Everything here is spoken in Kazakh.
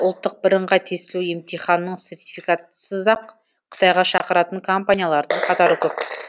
ұлттық біріңғай тестілеу емтиханының сертификатысыз ақ қытайға шақыратын компаниялардың қатары көп